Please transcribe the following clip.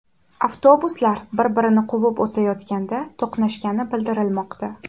Avtobuslar bir-birini quvib o‘tayotganda to‘qnashgani bildirilmoqda.